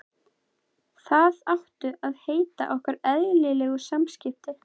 Það áttu að heita okkar eðlilegu samskipti.